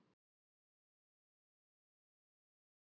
Hvað hefðuð þið getað gert öðruvísi til að koma boltanum í netið?